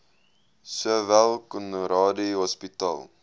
sowel conradie hospitaal